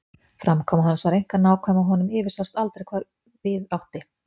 Framkoma hans var einkar nákvæm og honum yfirsást aldrei hvað við átti.